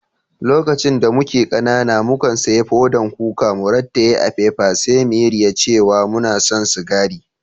Lokacin da muke kanana, mu kan siyan fodan kuka, mu ratayye a'fefa sai mu yi riya cewa muna san sigari.